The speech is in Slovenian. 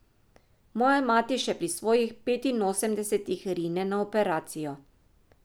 Moja mati še pri svojih petinosemdesetih rine na operacijo.